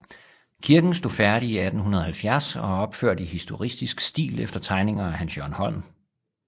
Kirken stod færdig i 1870 og er opført i historicistisk stil efter tegninger af Hans Jørgen Holm